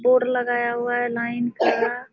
board लगाया हुआ है लाइन का --